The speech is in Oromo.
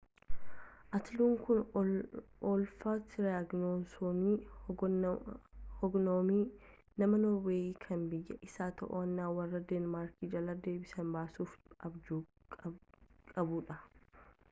atiluun kun olaaf tiraayigivassooniin hogganame nama norweeyii kan biyya isaa to'annaa warra deenmaark jalaa deebisee baasuuf abjuu qabuudha